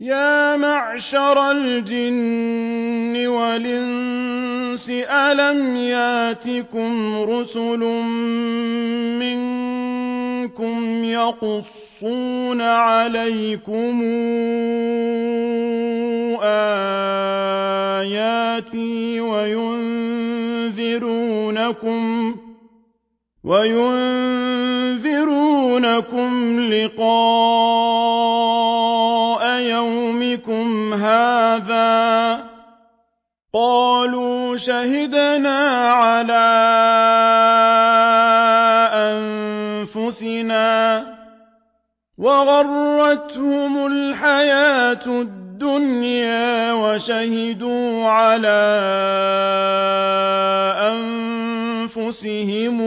يَا مَعْشَرَ الْجِنِّ وَالْإِنسِ أَلَمْ يَأْتِكُمْ رُسُلٌ مِّنكُمْ يَقُصُّونَ عَلَيْكُمْ آيَاتِي وَيُنذِرُونَكُمْ لِقَاءَ يَوْمِكُمْ هَٰذَا ۚ قَالُوا شَهِدْنَا عَلَىٰ أَنفُسِنَا ۖ وَغَرَّتْهُمُ الْحَيَاةُ الدُّنْيَا وَشَهِدُوا عَلَىٰ أَنفُسِهِمْ